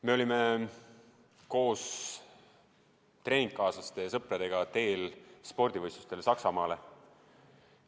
Me olime koos treeningukaaslaste ja sõpradega teel spordivõistlustele Saksamaale.